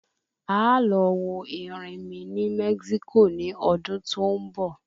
Aá lọ wo erinmí ní Mexico ní ọdún tó ń bọ̀